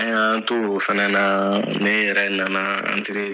An y'an to o fana na ne yɛrɛ nana an